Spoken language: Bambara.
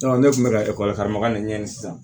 ne kun bɛ ka karama de ɲɛɲini sisan